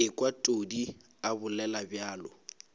ekwa todi a bolela bjalo